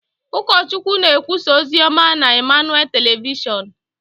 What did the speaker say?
Ụkọchukwu na-ekwusa ozi ọma na Emmanuel Telịvịshon.